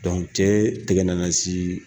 cɛ tɛgɛ nana se